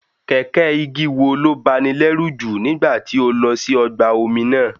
Kẹ̀kẹ́ igi wo ló báni lẹ́rù jù nígbà tí o lọ sí ọgbà omi náà?